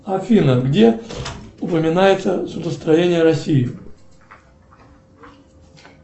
афина где упоминается судостроение россии